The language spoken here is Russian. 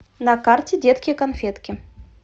на карте детки конфетки